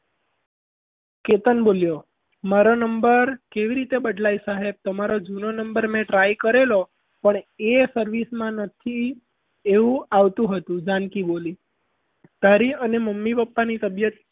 કેતન બોલ્યો મારો number કેવી રીતે બદલાય સાહેબ તમારો જૂનો number મેં try કરેલો પણ એ service માં નથી એવું આવતું હતું જાનકી બોલી તારી અને મમ્મી પપ્પાની તબિયત